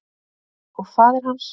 Og faðir hans?